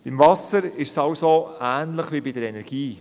Beim Wasser ist es also ähnlich wie bei der Energie.